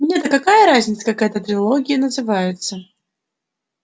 мне-то какая разница как эта трепология называется